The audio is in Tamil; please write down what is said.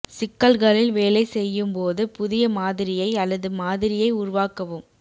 சிக்கல்களில் வேலை செய்யும் போது புதிய மாதிரியை அல்லது மாதிரியை உருவாக்கவும்